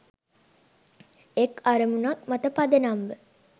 එක් අරමුණක් මත පදනම් ව